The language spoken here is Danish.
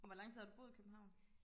hvor lang tid har du boet i København